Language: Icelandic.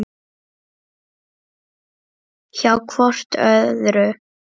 Hjá hvort öðru.